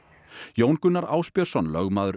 Jón Gunnar Ásbjörnsson lögmaður